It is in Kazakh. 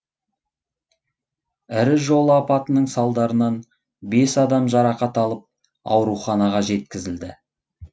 ірі жол апатының салдарынан бес адам жарақат алып ауруханаға жеткізілді